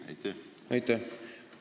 Aitäh!